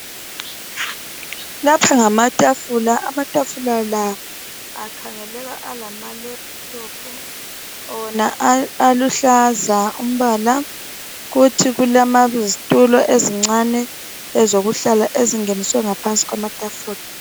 Lapha ngamatafula, amatafula la akhangeleka alama lephuthophu. Wona aluhlaza umbala kuthi kulezitulo ezincane ezokuhlala ezingeniswe ngaphansi kwetafula.